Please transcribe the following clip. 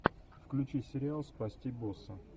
включи сериал спасти босса